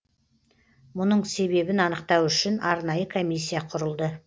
мұның себебін анықтау үшін арнайы комиссия құрылды